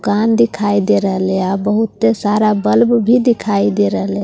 कान दिखाई दे रेलिया बहुत सारा बल्ब भी दिखाई दे रेलिया --